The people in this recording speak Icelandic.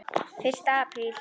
FYRSTI APRÍL